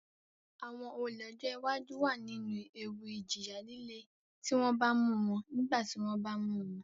Àwọn olè ọjọ́ iwájú wà nínú ewu ìjìyà líle tí wọ́n bá mú wọn nígbà tí wọ́n bá mu won